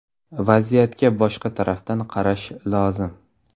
Vaziyatga boshqa tarafdan qarash lozim.